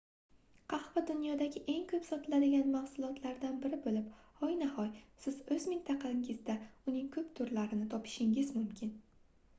qahva dunyodagi eng koʻp sotiladigan mahsulotlardan biri boʻlib hoynahoy siz oʻz mintaqangizda uning koʻp turlarini topishingiz mumkin